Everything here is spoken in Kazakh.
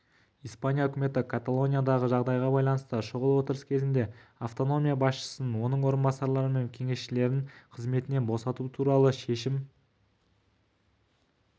испания үкіметі каталониядағы жағдайға байланысты шұғыл отырыс кезінде автономия басшысын оның орынбасарлары мен кеңесшілерін қызметінен босату туралы шешім қабылдады